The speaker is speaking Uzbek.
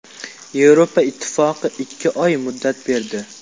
Yevropa Ittifoqi ikki oy muddat berdi.